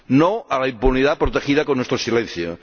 ¡No a la impunidad protegida con nuestro silencio!